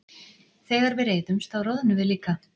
Þegar við reiðumst þá roðnum við líka.